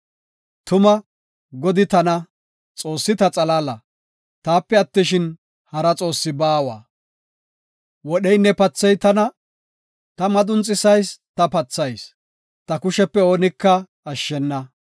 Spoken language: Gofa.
“Tuma, Godi tana; Xoossi ta xalaala; taape attishin, hara Xoossi baawa. Wodheynne paathey tana; ta madunxisayis; ta pathayis; ta kushepe oonika ashshena.